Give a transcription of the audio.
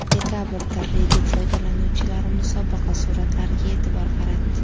Dekabrda Reddit foydalanuvchilari musobaqa suratlariga e’tibor qaratdi.